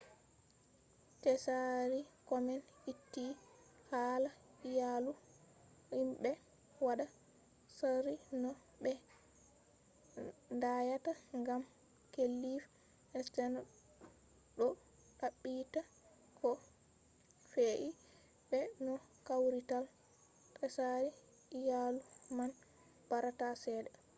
tsari komen itti hala iyalu himɓe waɗa tsari no ɓe danyata gam klif sterns ɗo ɗaɓɓita ko fe’i be no kawrital tsari iyalu man barata cede